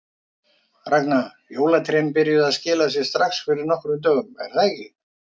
Ragna, jólatrén byrjuðu að skila sér strax fyrir nokkrum dögum er það ekki?